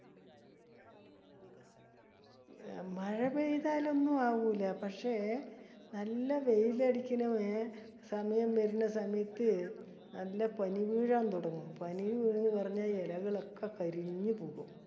മഴ പെയ്താലൊന്നും ആവൂല പക്ഷെ നല്ല വെയിലടിക്കണ സമയം വരണ സമയത് നല്ല പനി വീഴാൻ തുടങ്ങും. പനി എലകളൊക്കെ കരിഞ്ഞു പോകും.